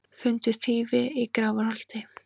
Fundu þýfi í Grafarholti